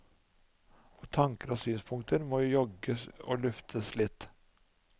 Og tanker og synspunkter må jogges og luftes litt.